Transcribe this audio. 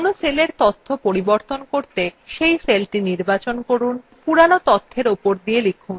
কোনো cellএর তথ্য পাল্টাতে cell সেলটি নির্বাচন করুন পুরোনো তথ্যের উপর লিখুন